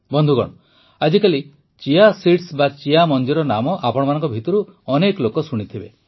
ବନ୍ଧୁଗଣ ଆଜିକାଲି chia seeds chia ମଞ୍ଜିର ନାମ ଆପଣମାନଙ୍କ ଭିତରୁ ବହୁତ ଲୋକ ଶୁଣିଥିବେ